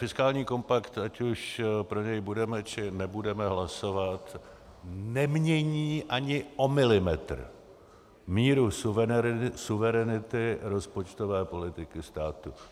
Fiskální kompakt, ať už pro něj budeme, či nebudeme hlasovat, nemění ani o milimetr míru suverenity rozpočtové politiky státu.